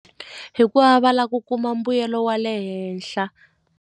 Hikuva va lava ku kuma mbuyelo wa le henhla.